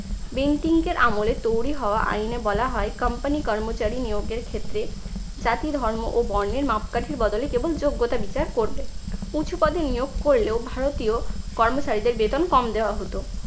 বেন্টিংকের আমলে তৈরি হওয়া আইনে বলা হয় company কর্মচারী নিয়োগের ক্ষেত্রে জাতি ধর্ম ও বর্ণের মাপকাঠির বদলে কেবল যোগ্যতা বিচার করবে। উঁচু পদে নিয়োগ করলেও ভারতীয় কর্মচারীদের বেতন কম দেওয়া হতো।